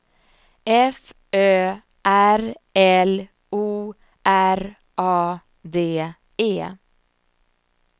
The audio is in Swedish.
F Ö R L O R A D E